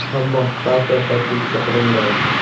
Ammo fakt va faktligicha qolaveradi.